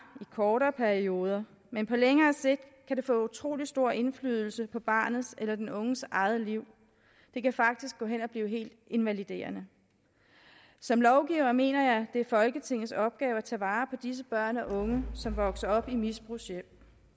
i kortere perioder men på længere sigt kan det få utrolig stor indflydelse på barnets eller den unges eget liv det kan faktisk gå hen og blive helt invaliderende som lovgiver mener jeg det er folketingets opgave at tage vare på disse børn og unge som vokser op i misbrugshjem